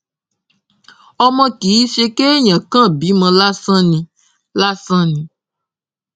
ọmọ kì í ṣe kéèyàn kàn bímọ lásán ni lásán ni